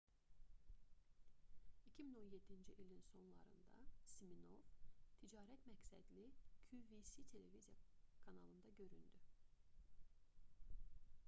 2017-ci ilin sonlarında siminoff ticarət məqsədli qvc televiziya kanalında göründü